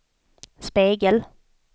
spegel